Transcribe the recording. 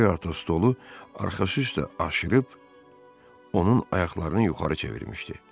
Qori ata stolu arxası üstə aşırıb onun ayaqlarını yuxarı çevirmişdi.